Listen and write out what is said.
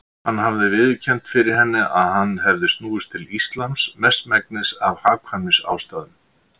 Hann hafði viðurkennt fyrir henni að hann hefði snúist til Íslams mestmegnis af hagkvæmnisástæðum.